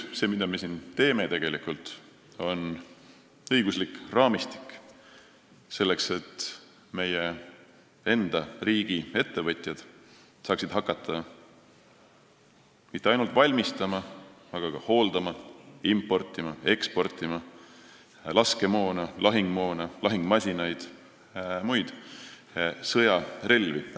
See, mida me siin tegelikult teeme, on õigusliku raamistiku loomine, selleks et meie enda riigi ettevõtjad saaksid hakata mitte ainult valmistama, vaid ka hooldama, importima ja eksportima laskemoona, lahingumoona, lahingumasinaid ja muid sõjarelvi.